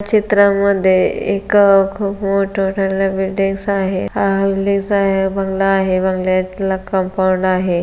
चित्रामध्ये एक खूप मोठ मोठाले बिल्डिंग्स आहे आहे बंगला आहे. बंगल्यातला कंपाऊंड आहे.